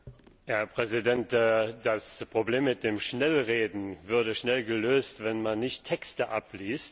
Herr Präsident! Das Problem mit dem Schnellreden würde schnell gelöst, wenn man nicht Texte abliest.